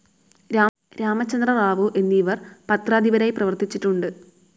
രാമചന്ദ്രറാവു എന്നിവർ പത്രാധിപരായി പ്രവർത്തിച്ചിട്ടുണ്ട്.